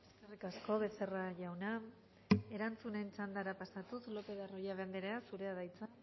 eskerrik asko becerra jauna erantzunen txandara pasatuz lopez de arroyabe andrea zurea da hitza